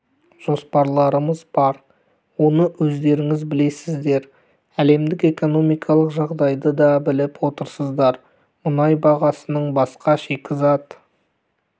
жоспарларымыз бар оны өздеріңіз білесіздер әлемдік экономикалық жағдайды да біліп отырсыздар мұнай бағасының басқа шикізат